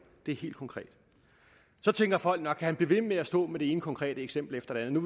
det er helt konkret så tænker folk nok kan han blive ved med at stå med det ene konkrete eksempel efter det andet